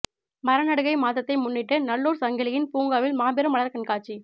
மரநடுகை மாதத்தை முன்னிட்டு நல்லூர் சங்கிலியன் பூங்காவில் மாபெரும் மலர்க் கண்காட்சி